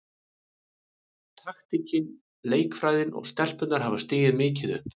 Taktíkin, leikfræðin og stelpurnar hafa stigið mikið upp.